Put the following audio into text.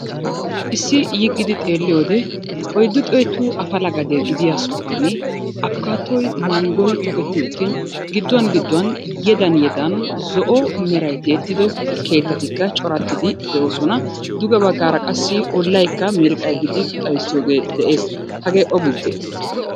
Issi yiggidi xeelliyoode oyiddu xeetu apala gade gidiya sohuwaani apkaatoy, manggoy toketti uttin gidduwan gidduwan yedan yedan zo"o meray tiyettido keettatikka corattidi de"oosona. Duge baggaara qassi ollayikka miiriqay gidi xayissiyogee de"es. Hagee o gibbee?